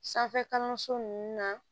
Sanfɛ kalanso nunnu na